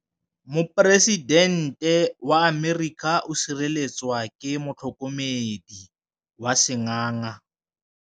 Poresitêntê wa Amerika o sireletswa ke motlhokomedi wa sengaga.